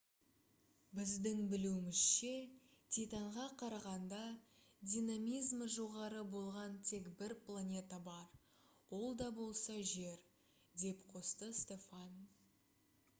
біздің білуімізше титанға қарағанда динамизмі жоғары болған тек бір планета бар ол да болса жер» - деп қосты стофан